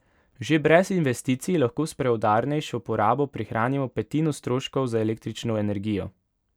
Že brez investicij lahko s preudarnejšo porabo prihranimo petino stroškov za električno energijo.